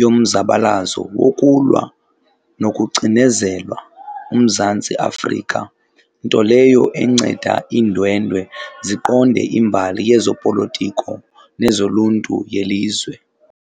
yomzabalazo wokulwa nokucinezelwa uMzantsi Afrika, nto leyo enceda iindwendwe ziqonde imbali yezopolotiko nezoluntu yelizwe.